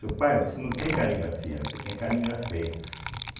Ô pai, você não tem caligrafia, você tem caligrafeia.